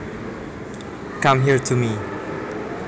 Come here to me